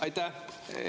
Aitäh!